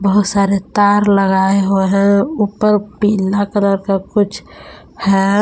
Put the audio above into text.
बहुत सारे तार लगाए हुए है। ऊपर पीला कलर का कुछ है।